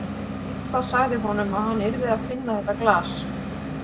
Eitthvað sagði honum að hann yrði að finna þetta glas.